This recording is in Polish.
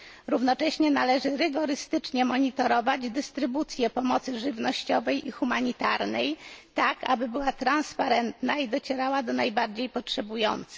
Równocześnie należy rygorystycznie monitorować dystrybucję pomocy żywnościowej i humanitarnej, aby była transparentna i docierała do najbardziej potrzebujących.